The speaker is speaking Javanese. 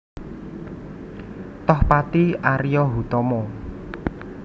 Tohpati Ario Hutomo